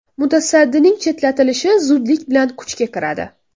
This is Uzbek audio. Mutasaddining chetlatilishi zudlik bilan kuchga kiradi.